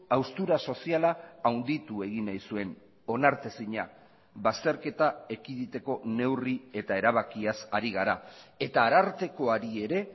haustura soziala handitu egin nahi zuen onartezina bazterketa ekiditeko neurri eta erabakiaz ari gara eta arartekoari ere